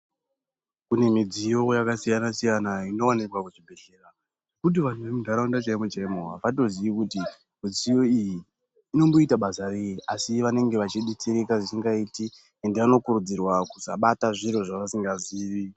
Kune midziyo yakasiyana siyana inowanikwa muzvibhedhlera yekuti vantu vemunharaunda avatozivi kuti mudziyo iyi inoita basa rei asi vanenge vachibetsereka zvisingaiti ended vanokurudzirwa kusabata zviro zvavasikazive .